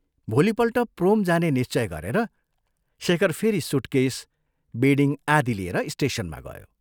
भोलिपल्ट प्रोम जाने निश्चय गरेर शेखर फेरि सूटकेस, बेडिङ आदि लिएर स्टेशनमा गयो।